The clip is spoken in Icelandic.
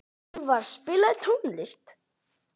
Elvar, spilaðu tónlist.